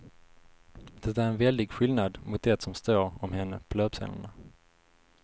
Det är en väldig skillnad mot det som står om henne på löpsedlarna.